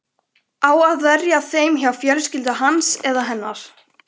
Á að verja þeim hjá fjölskyldu hans eða hennar?